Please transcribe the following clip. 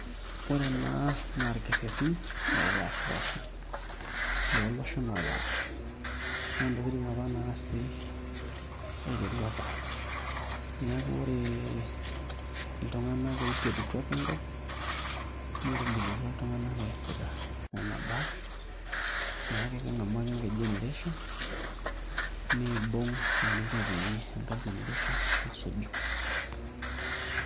Ore ena naa irkerrerin oopaashipaasha looloshon oopaasha naa ntokitin apa naasi aiteru apa neeku ore iltung'anak oiterutua apa enkop nitubulutua iltung'anak eesita kuna baa, neeku keng'amu ake enkae generation niibung' ominepunyie enkae generation nasuju.